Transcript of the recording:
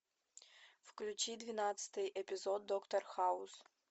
включи двенадцатый эпизод доктор хаус